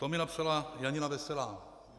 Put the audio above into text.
To mi napsala Janina Veselá.